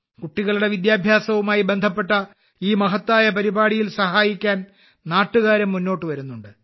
കുട്ടികളുടെ വിദ്യാഭ്യാസവുമായി ബന്ധപ്പെട്ട ഈ മഹത്തായ പരിപാടിയിൽ സഹായിക്കാൻ നാട്ടുകാരും മുന്നോട്ടു വരുന്നുണ്ട്